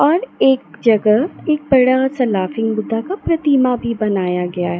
और एक जगह एक बड़ा सा लाफिंग बुद्धा का प्रतिमा भी बनाया गया है।